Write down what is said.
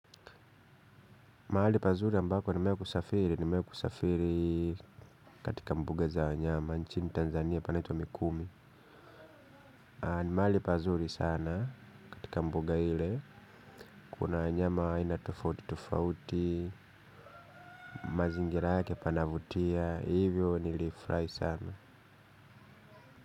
Mahali pazuri ambako nimewahi kusafiri, nimewahi kusafiri katika mbuga za wanyama, nchini Tanzania panaitwa mikumi. Ni mahali pazuri sana katika mbuga ile, kuna wanyama wa aina tofauti tofauti, mazingira yake panavutia, hivyo nilifurahi sana.